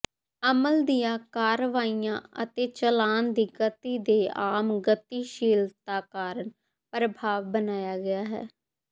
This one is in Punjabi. ਅਮਲ ਦੀਆਂ ਕਾਰਵਾਈਆਂ ਅਤੇ ਚੱਲਣ ਦੀ ਗਤੀ ਦੇ ਆਮ ਗਤੀਸ਼ੀਲਤਾ ਕਾਰਨ ਪ੍ਰਭਾਵ ਬਣਾਇਆ ਗਿਆ ਹੈ